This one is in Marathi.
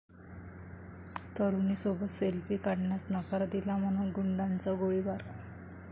तरुणीसोबत सेल्फी काढण्यास नकार दिला म्हणून गुंडाचा गोळीबार